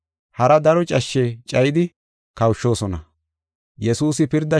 Hara daro cashshe cayidi kawushoosona.